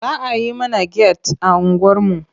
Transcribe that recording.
Za a yi mana get a unguwarmu.